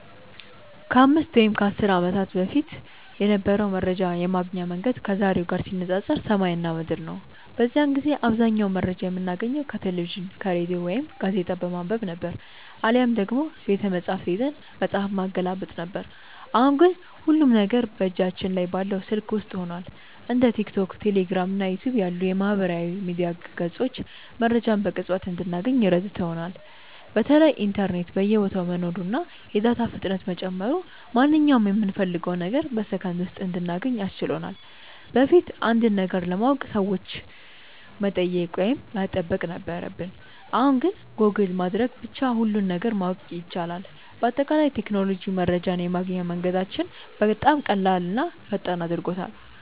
ከ5 ወይም ከ10 ዓመት በፊት የነበረው መረጃ የማግኛ መንገድ ከዛሬው ጋር ሲነፃፀር ሰማይና ምድር ነው። በዚያን ጊዜ አብዛኛውን መረጃ የምናገኘው ከቴሌቪዥን፣ ከሬዲዮ ወይም ጋዜጣ በማንበብ ነበር፤ አሊያም ደግሞ ቤተመጻሕፍት ሄደን መጽሐፍ ማገላበጥ ነበረብን። አሁን ግን ሁሉም ነገር በእጃችን ላይ ባለው ስልክ ውስጥ ሆኗል። እንደ ቲክቶክ፣ ቴሌግራም እና ዩቲዩብ ያሉ የማህበራዊ ሚዲያ ገጾች መረጃን በቅጽበት እንድናገኝ ረድተውናል። በተለይ ኢንተርኔት በየቦታው መኖሩና የዳታ ፍጥነት መጨመሩ ማንኛውንም የምንፈልገውን ነገር በሰከንድ ውስጥ እንድናገኝ አስችሎናል። በፊት አንድን ነገር ለማወቅ ሰዎችን መጠየቅ ወይም መጠበቅ ነበረብን፣ አሁን ግን ጎግል በማድረግ ብቻ ሁሉንም ነገር ማወቅ ይቻላል። በአጠቃላይ ቴክኖሎጂ መረጃን የማግኛ መንገዳችንን በጣም ቀላልና ፈጣን አድርጎታል።